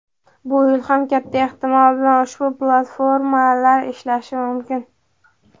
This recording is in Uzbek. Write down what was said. Bu yil ham katta ehtimol bilan ushbu platformalar ishlashi mumkin.